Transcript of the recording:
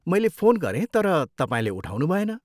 मैले फोन गरेँ, तर तपाईँले उठाउनुभएन।